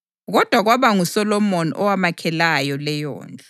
Kodwa kwaba nguSolomoni owamakhelayo leyondlu.